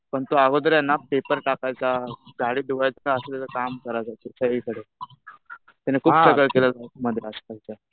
पण तो अगोदर आहे ना पेपर टाकायचा, गाडी धुवायचा असं काम करायचा. म्हणजे काहीही करायचा. त्याने खूप स्ट्रगल केला